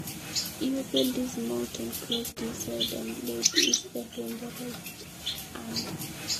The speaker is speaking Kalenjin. Kiyat kutit akoker konyek akotie metit keunyi nebo tai